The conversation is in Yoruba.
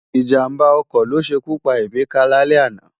Ijámbá òkò lósékú pá Emeka lálè àná